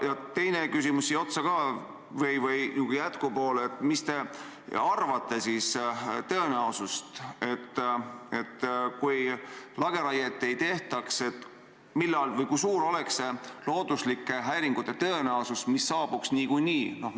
Ja teine küsimus siia otsa ka: mis te arvate, kui lageraiet ei tehtaks, kui suur oleks looduslike häiringute tõenäosus, mis saabuksid niikuinii?